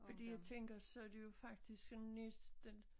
Fordi jeg tænker så det jo faktisk sådan næsten